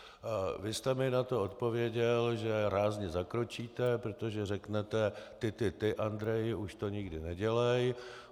Vy jste mi na to odpověděl, že rázně zakročíte, protože řeknete: ty, ty, ty, Andreji, už to nikdy nedělej.